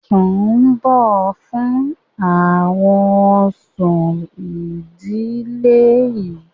Rúbọ̀ fún àwọn òòṣà ìdílé yín.